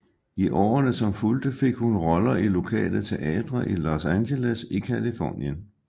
I årene som fulgte fik hun roller i lokale teatre i Los Angeles i Californien